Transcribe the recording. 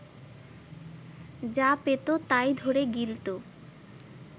যা পেত তাই ধরে গিলত